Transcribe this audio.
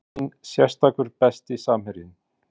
Enginn sérstakur Besti samherjinn?